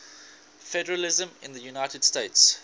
federalism in the united states